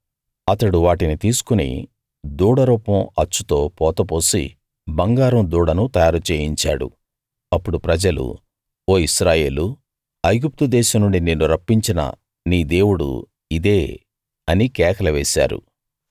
అతడు వాటిని తీసుకుని దూడ రూపం అచ్చుతో పోత పోసి బంగారం దూడను తయారు చేయించాడు అప్పుడు ప్రజలు ఓ ఇశ్రాయేలూ ఐగుప్తు దేశం నుండి నిన్ను రప్పించిన నీ దేవుడు ఇదే అని కేకలు వేశారు